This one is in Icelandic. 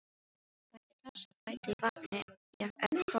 Gætið þess að bæta í vatni ef þörf krefur.